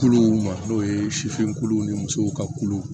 Kuluw ma n'o ye sifinw ni musow ka kulu